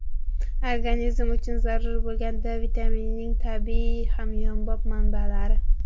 Organizm uchun zarur bo‘lgan D vitaminining tabiiy, hamyonbop manbalari.